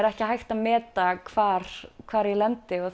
ekki hægt að meta hvar hvar ég lendi og